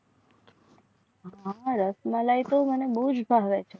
હા હા રસમલાઈ તો મને બહુ જ ભાવે છે.